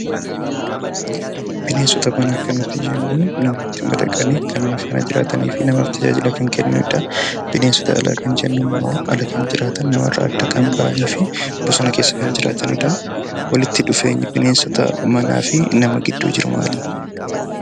Bineensota manaa kan nuti jennu mana keessatti madaqanii kan nama waliin jiraatanii fi namaaf tajaajila kan kennanii dha. Bineensota alaa kan jennu immoo ala kan jiraatan, nama irraa adda kan ba'anii fi bosona keessa kan jiraatan dha. Walitti dhufeenyi bineensota manaa fi nama gidduu jiru maalii dha?